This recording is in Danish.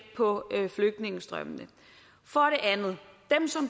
på flygtningestrømmene for